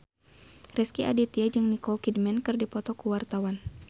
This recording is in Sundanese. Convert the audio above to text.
Rezky Aditya jeung Nicole Kidman keur dipoto ku wartawan